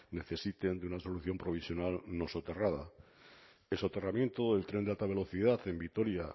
necesiten de una solución provisional no soterrada el soterramiento del tren de alta velocidad en vitoria